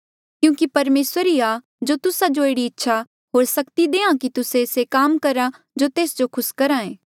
क्यूंकि परमेसर ही आ जो तुस्सा जो एह्ड़ी इच्छा होर सक्ति देहां कि तुस्से से काम करहा जो तेस जो खुस करहा